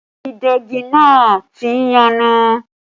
Ìdegi náà tí ń yọnu